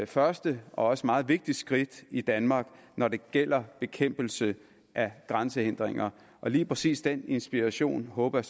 første og også meget vigtigt skridt i danmark når det gælder bekæmpelse af grænsehindringer og lige præcis den inspiration håber